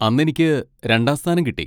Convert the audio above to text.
അന്നെനിക്ക് രണ്ടാം സ്ഥാനം കിട്ടി.